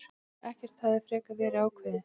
Ekkert hefði frekar verið ákveðið.